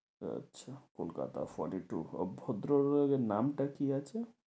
আচ্ছা, Kolkata fourty two আহ ভদ্রলোকের নামটা কি আছে?